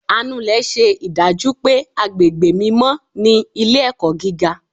anulè ṣe idaju pé agbégbé mímọ ni ilé-ẹkọ gígá.